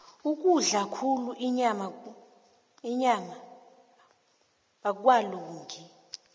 ukudla khulu inyama akwalungi